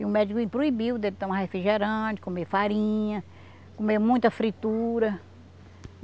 E o médico proibiu dele tomar refrigerante, comer farinha, comer muita fritura.